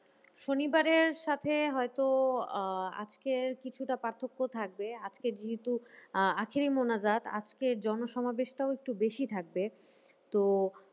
শনিবারের সাথে হয়তো আহ আজকের কিছুটা পার্থক্য থাকবে। আজকে যেহেতু আহ আখেরি মোনাজাত আজকের জনসমাবেশটাও একটু বেশি থাকবে। তো